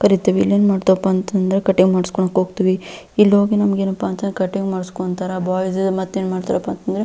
ಬರೀತೀವಿ ಇನ್ನೇನು ಮಾಡೋದಪ್ಪಾ ಅಂತಂದ್ರೆ ಕಟಿಂಗ್ ಮಾಡಿಸ್ಕೊಳ್ಳೋದಕ್ಕೆ ಹೋಗ್ತಿವಿ ಇಲ್ಲಿ ಹೋಗಿ ನಮಗೇನಪ್ಪಾ ಅಂತಂದ್ರೆ ಕಟಿಂಗ್ ಮಾಡಿಸಿಕೊಳ್ತಾರೆ ಬಾಯ್ಸ್ . ಮತ್ತೇನು ಮಾಡ್ತಾರಪ್ಪ ಅಂತಂದ್ರೆ --